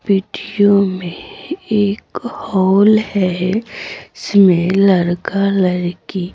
video में एक hall है इसमें लड़का लड़की--